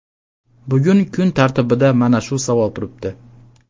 Bugun kun tartibida mana shu savol turibdi.